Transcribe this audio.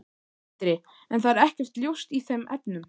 Sindri: En það er ekkert ljóst í þeim efnum?